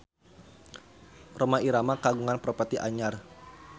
Rhoma Irama kagungan properti anyar